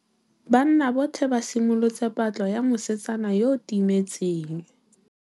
Banna botlhê ba simolotse patlô ya mosetsana yo o timetseng.